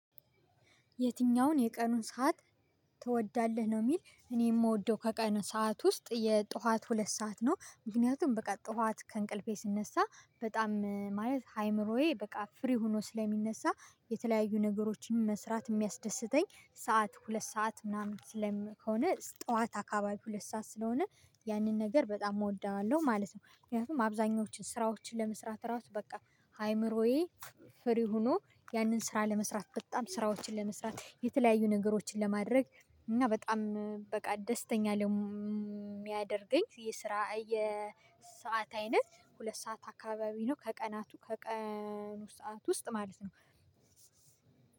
የትኛውን የቀኑን ሰዓት ትወዳለህ? ነው የሚል እኔ የምወደው ከቀኑን ሰዓት ውስጥ የጧት ሁለት ሰዓት ነው። ምክንያቱም በቃ ጧት ከእንቅልፌ ስነሳ በጣም ማለት አይምሮዬ በቃ ፍሪ ሆኖ ስለሚነሳ የተለያዩ ነገሮችን መስራት የሚያስደስተኝ ሰዓት ሁለት ሰዓት ምናምን ስለም ከሆነ ጠዋት አካባቢ ሁለት ሰዓት ስለሆነ ያንን ነገር በጣም እወደዋለሁ ማለት ነው። ምክንያቱም አብዛኞቹን ስራዎችን ለመስራት ራሱ በቃ አይምሮዬ ፍሪ ሆኖ ያንን ስራ ለመስራት በጣም ስራዎችን ለመስራት የተለያዩ ነገሮችን ለማድረግ እና በጣም በቃ ደስተኛ ለሚያደርገኝ የስራ የሰዓት አይነት ሁለት ሰዓት አካባቢ ነው። ከቀናቱ ከቀኑ ሰዓት ውስጥ ማለት ነው።